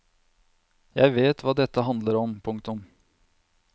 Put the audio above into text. Jeg vet hva dette handler om. punktum